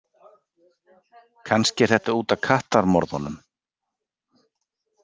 Kannski er þetta út af kattamorðunum.